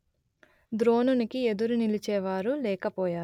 ద్రోణునికి ఎదురు నిలిచేవారు లేక పోయారు